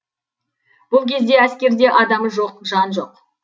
бұл кезде әскерде адамы жоқ жан жоқ